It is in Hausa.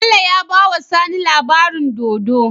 Bello yabawa sani labaranin dodo